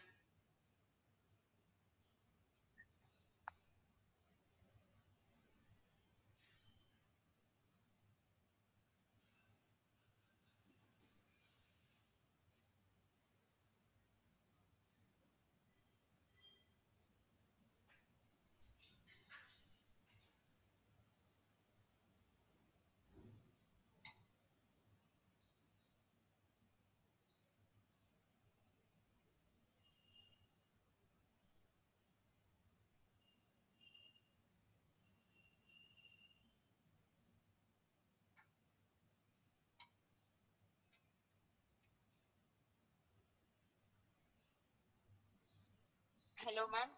hello maam